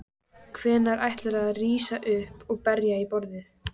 Hvenær ætlarðu að rísa upp og berja í borðið?